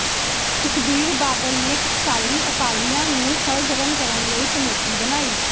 ਸੁਖਬੀਰ ਬਾਦਲ ਨੇ ਟਕਸਾਲੀ ਅਕਾਲੀਆਂ ਨੂੰ ਸਰਗਰਮ ਕਰਨ ਲਈ ਕਮੇਟੀ ਬਣਾਈ